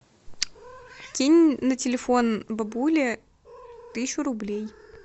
кинь на телефон бабуле тысячу рублей